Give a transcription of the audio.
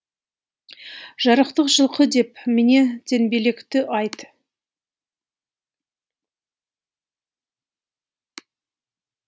жарықтық жылқы деп міне теңбелкекті айт